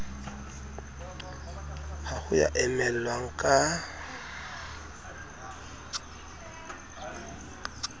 ha ho ya emellwang ka